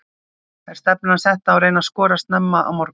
Er stefnan sett á að reyna að skora snemma á morgun?